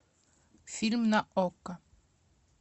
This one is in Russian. фильм на окко